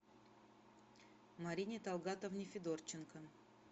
марине талгатовне федорченко